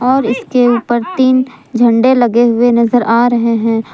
और इसके ऊपर तीन झंडे लगे हुए नजर आ रहे हैं।